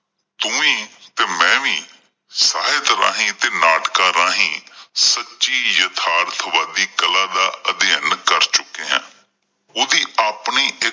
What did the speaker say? ਤੂੰ ਵੀ ਤੇ ਮੈਂ ਵੀ ਸਾਹਿਤ ਰਾਹੀਂ ਤੇ ਨਾਟਕਾਂ ਰਾਹੀਂ ਸੱਚੀ ਯਥਾਰਥ ਵਾਦੀ ਕਲਾ ਦਾ ਅਧਿਐਨ ਕਰ ਚੁੱਕੇ ਆਂ ਓਹਦੀ ਆਪਣੀ ਇੱਕ